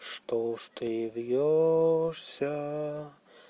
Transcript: чтож ты вьёшься